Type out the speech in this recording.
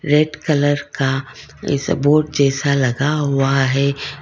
Red colour का sport जैसा लगा हुआ है।